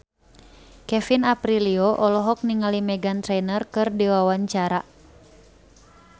Kevin Aprilio olohok ningali Meghan Trainor keur diwawancara